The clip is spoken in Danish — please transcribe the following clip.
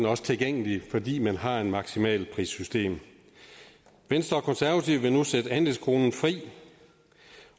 også tilgængelig fordi man har et maksimalprissystem venstre og konservative vil nu sætte andelskronen fri